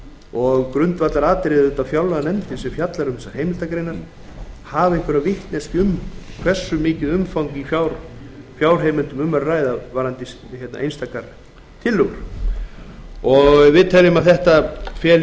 og grundvallaratriðið er auðvitað að fjárlaganefndin sem fjallar um þessar heimildargreinar hafi einhverja vitneskju um hversu mikið umfang í fjárheimildum er um að ræða varðandi einstakar tillögur við teljum að þetta feli